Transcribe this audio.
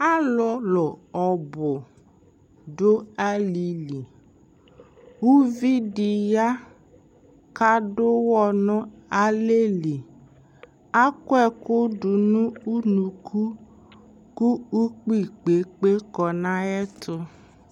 alolo ɔbo do ali li uvi di ya ko ado uwɔ no alɛ li akɔ ɛko do no unuku ko ukpi kpekpe kɔ no ayɛto